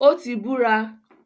Ó ti “ búra”.